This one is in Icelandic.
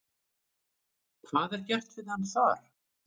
Hvað er gert við hann þar?